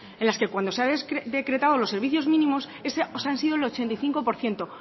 en las que cuando se han decretado los servicios mínimos pues han sido el ochenta y cinco por ciento